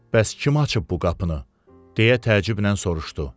Bəs kim açıb bu qapını, deyə təəccüblə soruşdu?